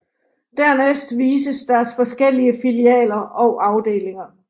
Dernæst vises deres forskellige filialer og afdelinger